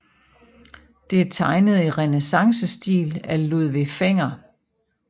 Det er tegnet i renæssancestil af Ludvig Fenger